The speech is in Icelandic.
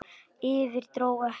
Yfir- dró ekki!